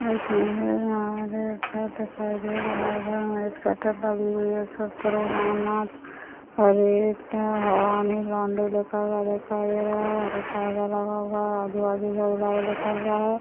एक शटर लगी हुई हैं उसमे प्रो रामनाथ एक हवाने लौण्डे लिखा हुआ दिखाई दे रहा हैं और एक आगा लगा हुआ हैं आजू-बाजू लिखा हुआ हैं।